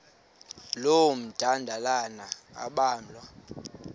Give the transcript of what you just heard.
loo madlalana ambalwa